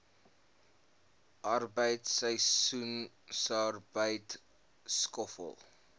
arbeid seisoensarbeid skoffel